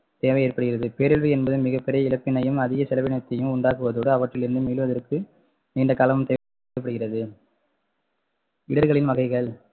தேவை ஏற்படுகிறது பேரழிவு என்பது மிகப்பெரிய இடத்தினையும் அதிக செலவினத்தையும் உண்டாக்குவதோடு அவற்றிலிருந்து மீளுவதற்கு நீண்ட காலம் தேவைப்படுகிறது இடர்களின் வகைகள்